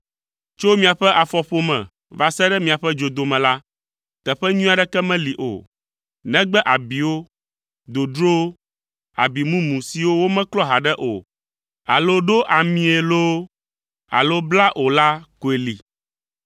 Tso miaƒe afɔƒome va se ɖe miaƒe dzodome la, teƒe nyui aɖeke meli o, negbe abiwo, dodrowo, abi mumu siwo womeklɔ haɖe o alo ɖo amii loo alo bla o la koe li.